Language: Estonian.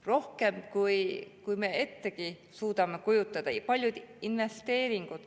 Rohkem kui me ettegi suudame kujutada.